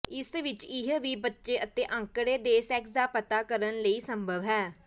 ਇਸ ਵਿਚ ਇਹ ਵੀ ਬੱਚੇ ਅਤੇ ਅੰਕੜੇ ਦੇ ਸੈਕਸ ਦਾ ਪਤਾ ਕਰਨ ਲਈ ਸੰਭਵ ਹੈ